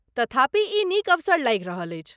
तथापि ई नीक अवसर लागि रहल अछि।